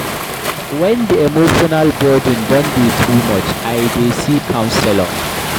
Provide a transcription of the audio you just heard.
Wen di emotional burden don dey too much, I dey see counselor.